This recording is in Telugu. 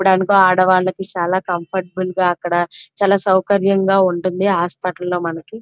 ఇపుడు అనుకో ఆడవాళ్లకి చాలా కంఫర్టబుల్గా అక్కడ చాలా సౌకర్యంగా ఉంటుంది హాస్పిటల్ లో మనకి.